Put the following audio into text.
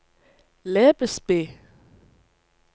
Lebesby